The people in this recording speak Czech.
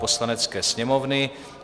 Poslanecké sněmovny